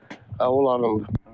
Hə onlarınkıdır.